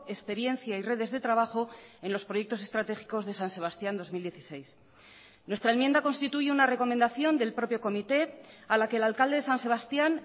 experiencia y redes de trabajo en los proyectos estratégicos de san sebastián dos mil dieciséis nuestra enmienda constituye una recomendación del propio comité a la que el alcalde de san sebastián